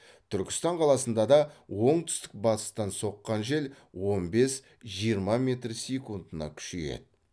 түркістан қаласында да оңтүстік батыстан соққан жел он бес жиырма метр секундына күшейеді